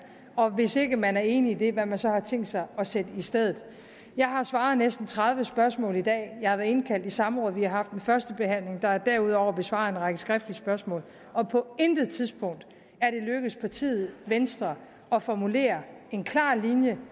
og hvis ikke man er enig i det hvad man så har tænkt sig at sætte i stedet jeg har svaret på næsten tredive spørgsmål i dag jeg har været indkaldt i samråd vi har haft en førstebehandling og der er derudover blevet besvaret en række skriftlige spørgsmål og på intet tidspunkt er det lykkedes partiet venstre at formulere en klar linje